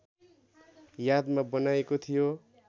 यादमा बनाइएको थियो